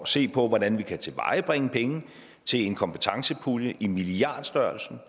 se på hvordan vi kan tilvejebringe penge til en kompetencepulje i milliardstørrelsen